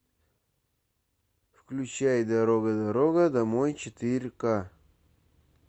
включай дорога дорога домой четыре к